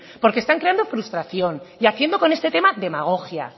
porque están creando frustración y haciendo con este tema demagogia